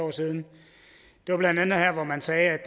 år siden det var blandt andet her hvor man sagde at